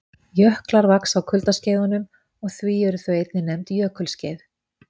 Jöklar vaxa á kuldaskeiðunum og því eru þau einnig nefnd jökulskeið.